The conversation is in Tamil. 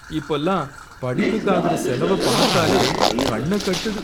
இப்பலாம் படிப்புக்கு ஆகுற செலவ பார்த்தாலே கண்ண கட்டுது